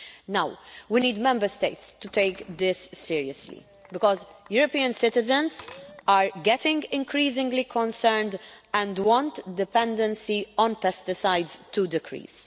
Now, we need Member States to take this seriously, because European citizens are getting increasingly concerned and want dependency on pesticides to decrease.